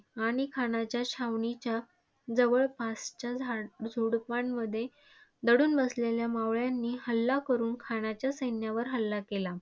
आणि खानाच्या छावणीच्या जवळपासच्या झाडझुडपांमध्ये दडून बसलेल्या मावळ्यांनी हल्ला करुन खानाच्या सैन्यावर हल्ला केला.